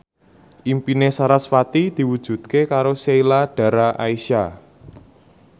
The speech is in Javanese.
impine sarasvati diwujudke karo Sheila Dara Aisha